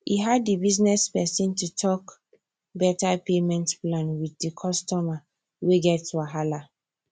e hard di business person to talk better payment plan with the customer wey get wahala